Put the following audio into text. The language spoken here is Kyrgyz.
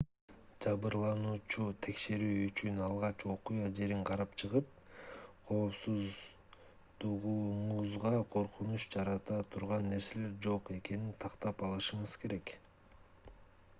жабырлануучуну текшерүү үчүн алгач окуя жерин карап чыгып коопсуздугуңузга коркунуч жарата турган нерселер жок экенин тактап алышыңыз керек